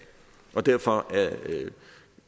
derfor